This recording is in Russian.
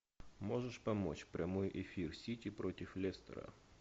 можешь помочь прямой эфир сити против лестера